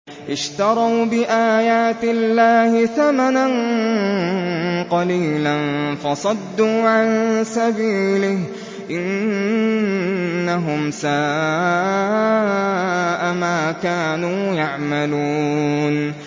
اشْتَرَوْا بِآيَاتِ اللَّهِ ثَمَنًا قَلِيلًا فَصَدُّوا عَن سَبِيلِهِ ۚ إِنَّهُمْ سَاءَ مَا كَانُوا يَعْمَلُونَ